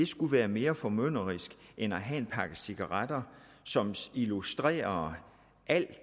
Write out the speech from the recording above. skulle være mere formynderisk end at have en pakke cigaretter som illustrerer al